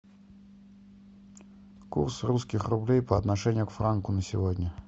курс русских рублей по отношению к франку на сегодня